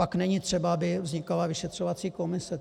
Pak není třeba, aby vznikala vyšetřovací komise.